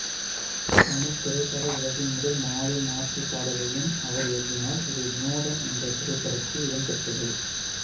தமிழ்த் திரைப்பட உலகின் முதல் மாலை மாற்றுப் பாடலையும் அவர் எழுதினார் இது விநோதன் என்ற திரைப்படத்தில் இடம்பெற்றது